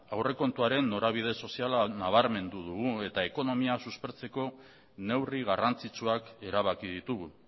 aurrekontuaren norabide soziala nabarmendu dugu eta ekonomia suspertzeko neurri garrantzitsuak erabaki ditugu